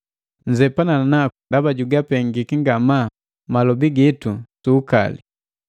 Nzepana naku ndaba jugupenga malobi gitu su ukali.